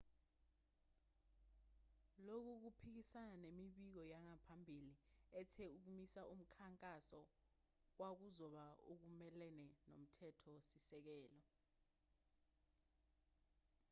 lokhu kuphikisana nemibiko yangaphambili ethe ukumisa umkhankaso kwakuzoba okumelene nomthetho-sisekelo